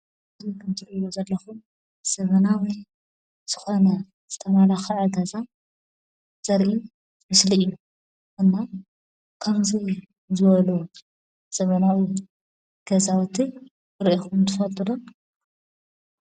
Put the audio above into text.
ከምዚ እትሪእዎ ዘመናዊ ዝኾነ ዝተመላኸዐ ገዛ ዘርኢ ምስሊ እዩ። እሞ ከምዚ ዝበለ ዘመናዊ ገዛዉቲ ሪኢኹም ትፈልጡ ደ ?